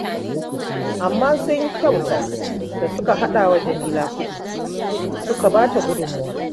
Amma sun kyauta da suka haɗa wa Jamila kuɗi suka ba ta gudunmawa